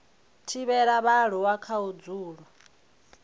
thivhela vhaaluwa kha u dzula